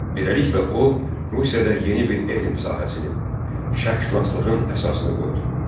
Beləliklə o Rusiyada yeni bir elm sahəsinin, şərqşünaslığın əsasını qoydu.